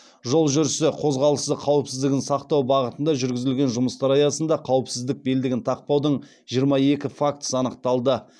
жол жүрісі қозғалыс қауіпсіздік сақтау бағытында жүргізілген жұмыстар аясында қауіпсіздік белдігін тақпаудың жиырма екі фактісі анықталды